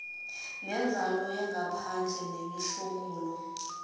nenzalo yangaphandle nemihlomulo